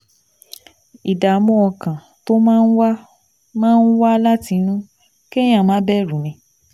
Ìdààmú ọkàn tó máa ń wá máa ń wá láti inú kéèyàn máa bẹ̀rù ni